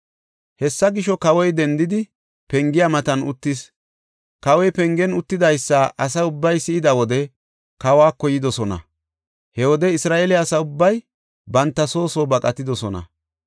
Hessa gisho, kawoy dendidi pengiya matan uttis. Kawoy pengen uttidaysa asa ubbay si7ida wode kawako yidosona. He wode Isra7eele asa ubbay banta soo soo baqatidosona.